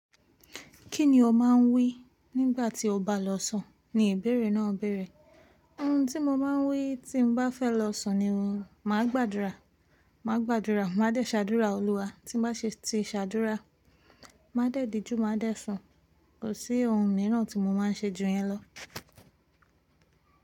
“Kí ni o máa ń wí nígbà tí o bá lọ sùn?” ni ibeere náà béèrè. “Ohun tí mo máa ń wí tí bá fẹ́ lọ sùn ni, màá gbàdúrà, màá gbàdúrà, màá dẹ́ṣàdúrà Òlúwa. Tí bá ṣe ti ṣàdúrà, màá dẹ́díjú, màá dẹ́ sùn. Kò sí ohun mìíràn tí mo máa ń ṣe ju yẹn lọ.”